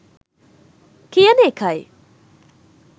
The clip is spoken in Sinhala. කියන එකයි.